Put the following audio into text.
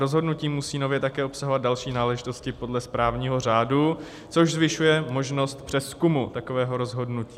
Rozhodnutí musí nově také obsahovat další náležitosti podle správního řádu, což zvyšuje možnost přezkumu takového rozhodnutí.